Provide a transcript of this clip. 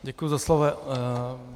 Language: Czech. Děkuji za slovo.